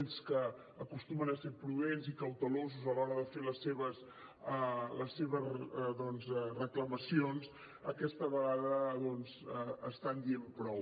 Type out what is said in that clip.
ells que acostumen a ser prudents i cautelosos a l’hora de fer les seves doncs reclamacions aquesta vegada estan dient prou